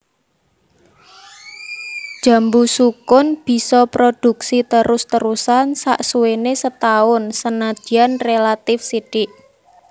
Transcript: Jambu sukun bisa prodhuksi terus terusan saksuwéné setaun senadyan rélatif sithik